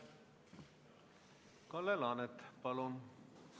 Kalle Laanet, palun!